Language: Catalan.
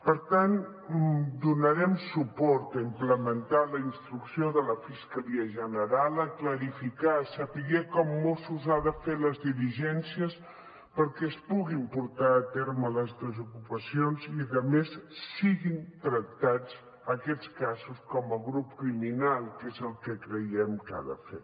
per tant donarem suport a implementar la instrucció de la fiscalia general a clarificar a saber com mossos ha de fer les diligències perquè es puguin portar a terme les desocupacions i a més siguin tractats aquests casos com a grup criminal que és el que creiem que ha de fer